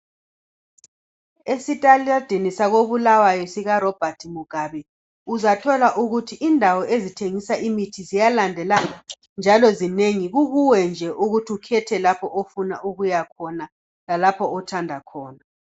Esitaladini sako Bulawayo sika Robert Mugabe uzathola ukuthi indawo ezithengisa imithi ziyalandelana njalo zinengi. Kukuwe nje ukuthi ukhethe lapho ofuna ukuyakhona. Lalapho othanda khona.